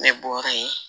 Ne bɔra yen